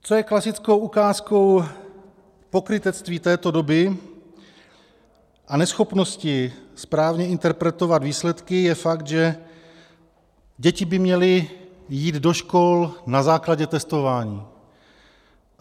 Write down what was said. Co je klasickou ukázkou pokrytectví této doby a neschopnosti správně interpretovat výsledky, je fakt, že děti by měly jít do škol na základě testování.